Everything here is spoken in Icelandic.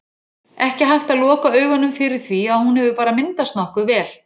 Ekki hægt að loka augunum fyrir því að hún hefur bara myndast nokkuð vel.